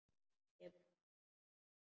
Kemur nær.